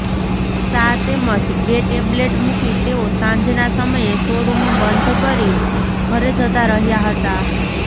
સા તેમજ બે ટેબલેટ મૂકી તેઓ સાંજના સમયે શોરૂમ બંધ કરી ઘરે જતાં રહ્યા હતા